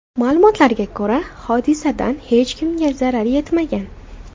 Ma’lumotlarga ko‘ra, hodisadan hech kimga zarar yetmagan.